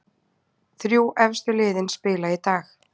Þrjú efstu liðin spila í dag